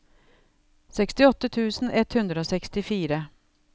sekstiåtte tusen ett hundre og sekstifire